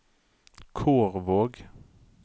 Kårvåg